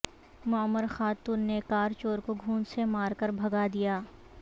معمر خاتون نے کار چور کو گھونسے مار کر بھگا دیا